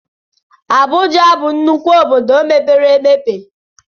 Abụja bụ nnukwu obodo mepere emepe